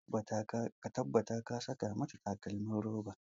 Ka tabbata ka saka mata takalmin roba!